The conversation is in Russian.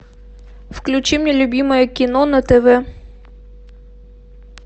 включи мне любимое кино на тв